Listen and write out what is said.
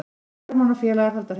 Hermann og félagar halda hreinu